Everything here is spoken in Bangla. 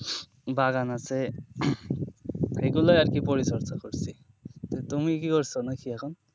বাগান আছে এগুলোই আরকি পরিচর্চা করছি। তা তুমি কি করছো নাকি এখন?